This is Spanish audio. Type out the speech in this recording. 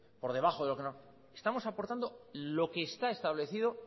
por debajo de lo que estamos aportando lo que está establecido